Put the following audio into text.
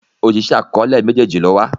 Oṣiṣẹ akọọlẹ méjèjì ló wà.